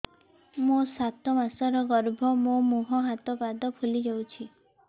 ମୋ ସାତ ମାସର ଗର୍ଭ ମୋ ମୁହଁ ହାତ ପାଦ ଫୁଲି ଯାଉଛି